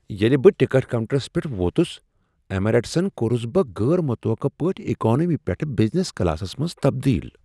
ییٚلہ بہٕ ticket counters پیٹھ ووتس ایمریٹسن کورس بہٕ غیر متوقع پٲٹھۍ اکانومی پیٹھٕ بزنس کلاسس منز تبدیل۔